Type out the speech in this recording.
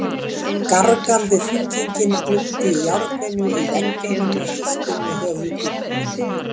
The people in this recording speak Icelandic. Gargandi hringingin glumdi í járninu í veggjunum og djúpt inni í höfuðkúpu minni.